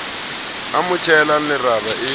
a mo tjhehelang leraba e